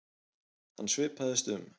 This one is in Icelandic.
Hann svipaðist um.